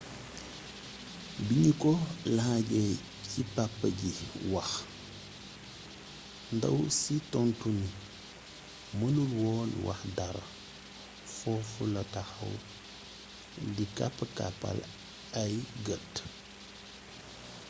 biñu ko laajee ci papa ji wax ndaw si tontu ni mënul woon wax dara foofu la taxaw di kapp-kappal ay gët